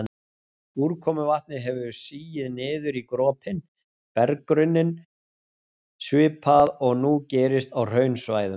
Úrkomuvatnið hefur sigið niður í gropinn berggrunninn, svipað og nú gerist á hraunasvæðum.